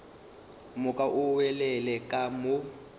moka o nwelele ka mo